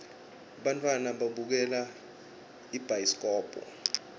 bantfwana babukela ibhayiskobhu